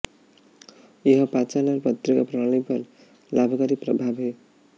यह पाचन और तंत्रिका प्रणाली पर लाभकारी प्रभाव है